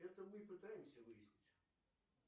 это мы и пытаемся выяснить